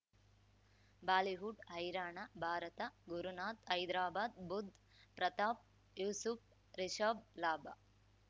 Bollywood ಹೈರಾಣ ಭಾರತ ಗುರುನಾಥ್ ಹೈದ್ರಾಬಾದ್ ಬುಧ್ ಪ್ರತಾಪ್ ಯೂಸುಫ್ ರಿಷಬ್ ಲಾಭ